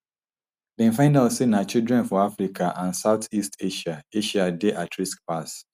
dem find out say na children for africa and south east asia asia dey at risk pass